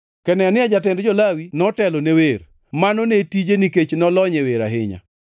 Kenania jatend jo-Lawi notelo ne wer, mano ne tije nikech nolony e wer ahinya.